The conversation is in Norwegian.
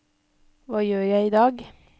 hva gjør jeg idag